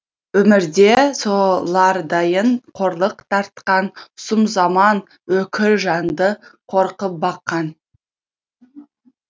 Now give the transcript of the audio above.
өмірде солардайын қорлық тартқан сұм заман өкір жанды қорқып баққан